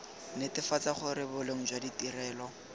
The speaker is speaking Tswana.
netefatsa gore boleng jwa ditirelo